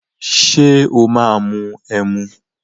Ṣé o máa mu ẹmu?